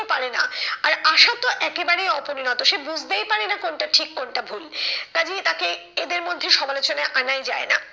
পারে না। আর আশা তো একেবারেই অপরিণত সে বুঝতেই পারেনা কোনটা ঠিক কোনটা ভুল। কাজেই তাকে এদের মধ্যে সমালোচনায় আনাই যায় না।